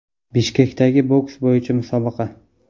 Bishkekdagi boks bo‘yicha musobaqa.